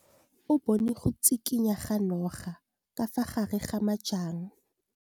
O bone go tshikinya ga noga ka fa gare ga majang.